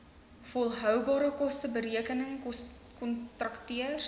volhoubare kosteberekenings kontakteurs